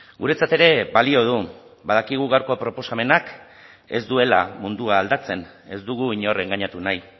guretzat ere balio du badakigu gaurko proposamenak ez duela mundua aldatzen ez dugu inor engainatu nahi